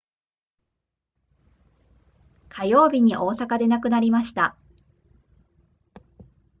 火曜日に大阪で亡くなりました